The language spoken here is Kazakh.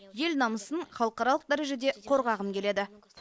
ел намысын халықаралық дәрежеде қорғағым келеді